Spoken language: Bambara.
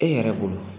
E yɛrɛ bolo